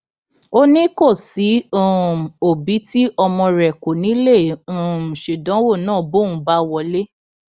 ó ní kò sí um òbí tí ọmọ rẹ kò ní í lè um ṣèdánwò náà bóun bá wọlé